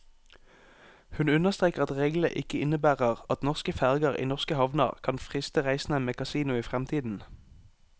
Hun understreker at reglene ikke innebærer at norske ferger i norske havner kan friste reisende med kasino i fremtiden.